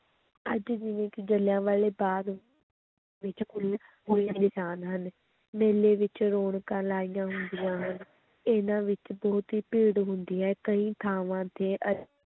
ਅੱਜ ਵੀ ਜਿਲ੍ਹਿਆਂਵਾਲੇ ਬਾਗ਼ ਵਿੱਚ ਨਿਸ਼ਾਨ ਹਨ, ਮੇਲੇ ਵਿੱਚ ਰੌਣਕਾਂ ਲਾਈਆਂ ਹੁੰਦੀਆਂ ਹਨ, ਇਹਨਾਂ ਵਿੱਚ ਬਹੁਤ ਹੀ ਭੀੜ ਹੁੰਦੀ ਹੈ ਕਈ ਥਾਵਾਂ ਤੇ